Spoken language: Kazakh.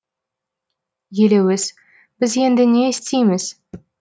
елеуіз біз енді не істейміз